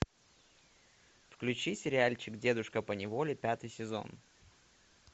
включи сериальчик дедушка поневоле пятый сезон